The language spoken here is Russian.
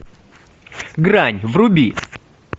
грань вруби